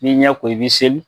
I b'i ɲɛ ko i bɛ seli.